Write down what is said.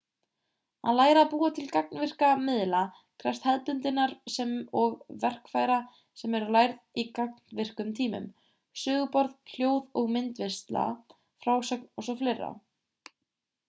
að læra að búa til gagnvirka miðla krefst hefðbundinnar sem og verkfæra sem lærð eru í gagnvirkum tímum söguborð hljóð- og myndvinnsla frásögn o.s.frv.